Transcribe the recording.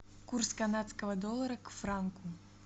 курс канадского доллара к франку